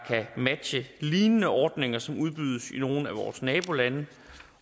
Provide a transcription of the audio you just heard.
matche lignende ordninger som udbydes i nogle af vores nabolande